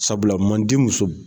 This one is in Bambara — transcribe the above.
Sabula manden musow.